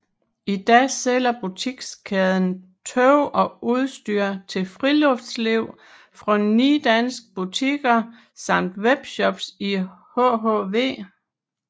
I dag sælger butikskæden tøj og udstyr til friluftsliv fra ni danske butikker samt webshops i hhv